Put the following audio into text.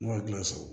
Ne ma kile sɔrɔ